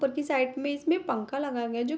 ऊपर की साइड में इसमें पंखा लगाया गया है जो --